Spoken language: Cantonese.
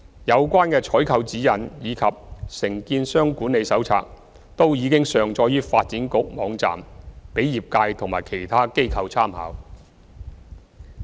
有關的採購指引及《承建商管理手冊》均已上載於發展局網站，供業界及其他機構參考。